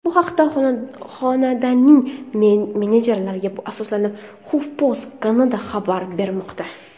Bu haqda xonandaning menejerlariga asoslanib, HuffPost Canada xabar bermoqda .